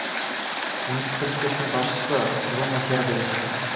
муниципалитеттің басшысы бруно херберих